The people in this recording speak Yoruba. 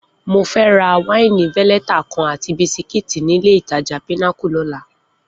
Mo fẹ́ ra wáìnì veleta kan àti bisikíìtì nílé-ìtajà Pinnacle lọ́la